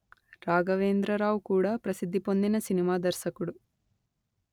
రాఘవేంద్రరావు కూడా ప్రసిద్ది పొందిన సినిమా దర్శకుడు